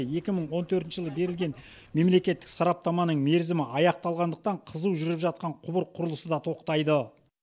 екі мың он төртінші жылы берілген мемлекеттік сараптаманың мерзімі аяқталғандықтан қызу жүріп жатқан құбыр құрылысы да тоқтайды